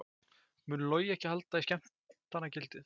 Mun Logi ekki halda í skemmtanagildið?